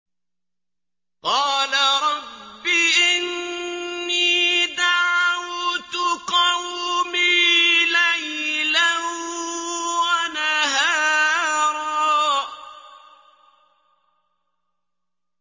قَالَ رَبِّ إِنِّي دَعَوْتُ قَوْمِي لَيْلًا وَنَهَارًا